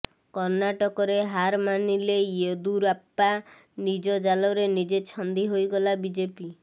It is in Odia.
କର୍ଣ୍ଣାଟକରେ ହାର ମାନିଲେ ୟେଦୁରାପ୍ପା ନିଜ ଜାଲରେ ନିଜେ ଛନ୍ଦି ହୋଇଗଲା ବିଜେପି